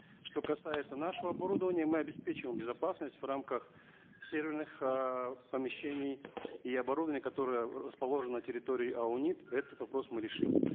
что касается нашего оборудования мы обеспечиваем безопасность в рамках серверных эээ помещений и оборудований которые расположены на территории аунит этот вопрос мы решим